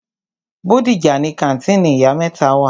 Bódìjà ni kàńtìnì ìyá mẹ́ta wà.